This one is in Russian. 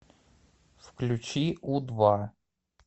включи у два